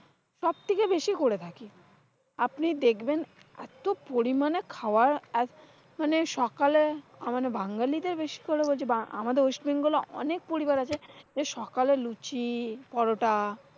সবথেকে বেশি করে থাকি। আপনি দেখবেন, এত পরিমানে খাওয়া আহ মানে সকালে মানে বাঙ্গালীদের বেশি করে হচ্চে আমাদের ওয়েস্টবেঙ্গল অনেক পরিবার আছে। সকালে লুচি পরাটা,